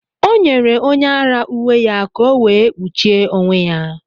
Ọ nyere onye ara uwe ya ka ọ wee kpuchie onwe ya.